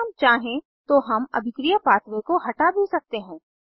अगर हम चाहें तो हम अभिक्रिया पाथवे को हटा भी सकते हैं